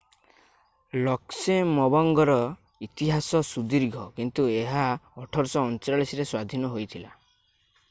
ଲକ୍ସେମବର୍ଗର ଇତିହାସ ସୁଦୀର୍ଘ କିନ୍ତୁ ଏହା 1839ରେ ସ୍ଵାଧୀନ ହୋଇଥିଲା